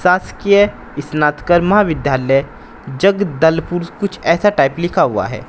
शासकीय स्नातकर्मा विद्यालय जगदलपुर कुछ ऐसा टाइप लिखा हुआ है।